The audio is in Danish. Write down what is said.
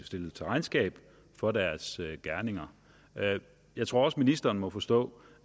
stillet til regnskab for deres gerninger jeg tror også ministeren må forstå